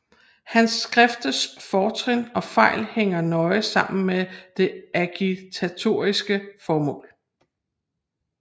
Hans skrifters fortrin og fejl hænger nøje sammen med det agitatoriske formål